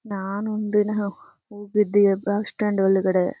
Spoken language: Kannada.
ನಾನು ಒಂದ್ ದಿನ ಹೋಗಿದ್ದೆ ಬಸ್ ಸ್ಟಾಂಡ್ ಒಳ್ಗಡೆ.